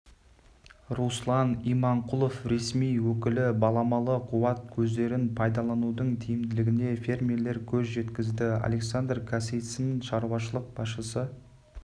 руслан иманқұлов ресми өкілі баламалы қуат көздерін пайдаланудың тиімділігіне фермерлер көз жеткізді александр касицын шаруашылық басшысы